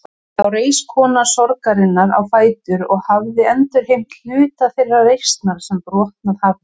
Þá reis kona sorgarinnar á fætur og hafði endurheimt hluta þeirrar reisnar sem brotnað hafði.